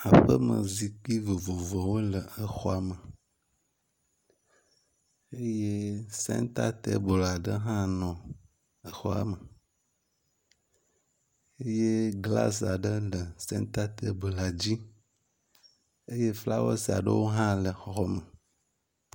Aƒeme zikpui vovovowo le exɔa me eye sɛnta tɛbel aɖe hã nɔ exɔa me eye glasi aɖe le sɛnta tɛbel la dzi. Eye flawɔsi aɖewo hã le eɔxɔ me.